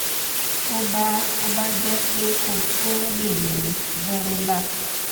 tó bá tó bá jẹ́ pé kò tó o lè yan zerolac